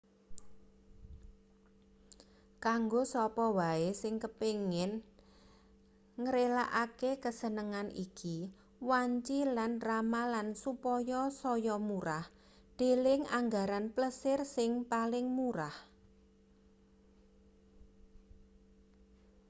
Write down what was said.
kanggo sapa wae sing kepengin ngrelakake kasenengan iki wanci lan ramalan supaya saya murah deleng anggaran plesir sing paling murah